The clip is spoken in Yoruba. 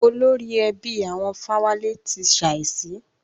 Olórí ẹbí àwọn Fáwálé ti ṣàísí.